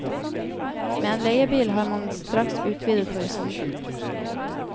Med en leiebil har man straks utvidet horisonten.